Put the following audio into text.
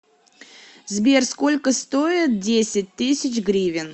сбер сколько стоит десять тысяч гривен